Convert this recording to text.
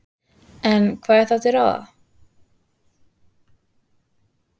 En hvað er þá til ráða?